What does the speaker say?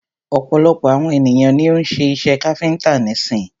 Ọ̀pọ̀lọpọ̀ àwon ènìyàn ni o ń́ ṣe iṣẹ káfíńńtà nísin.